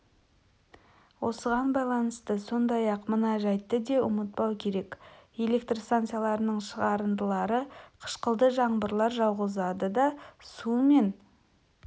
осыған байланысты сондай-ақ мына жәйтті де ұмытпау керек электр станцияларының шығарындылары қышқылды жаңбырлар жауғызады да су мен